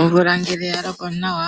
Omvula ngele ya loko nawa,